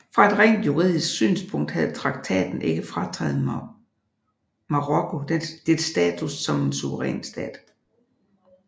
Fra et rent juridisk synspunkt havde traktaten ikke frataget Marokko dets status som en suveræn stat